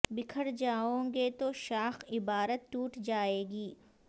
بکھر جاوءں گے تو شاخ عبارت ٹوٹ جائے گی